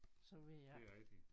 Så ved jeg ikke